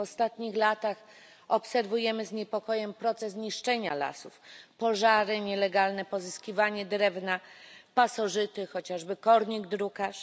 W ostatnich latach obserwujemy z niepokojem proces niszczenia lasów pożary, nielegalne pozyskiwanie drewna, pasożyty, chociażby kornik drukarz.